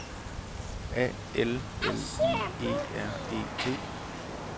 A L L I E R E T